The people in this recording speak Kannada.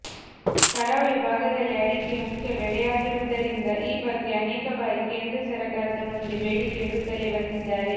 ಕರಾವಳಿ ಭಾಗದಲ್ಲಿ ಅಡಿಕೆ ಮುಖ್ಯ ಬೆಳೆಯಾಗಿರುವುದರಿಂದ ಈ ಬಗ್ಗೆ ಅನೇಕ ಬಾರಿ ಕೇಂದ್ರ ಸರಕಾರದ ಮುಂದೆ ಬೇಡಿಕೆ ಇಡುತ್ತಲೇ ಬಂದಿದ್ದಾರೆ